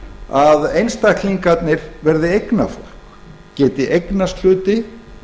að einstaklingarnir verði eignafólk geti eignast hluti